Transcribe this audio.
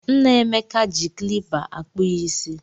Nna Emeka ji klipa akpụ ya ịsị.